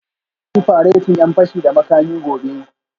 Za ku yi faretin 'yan fashi da makami gobe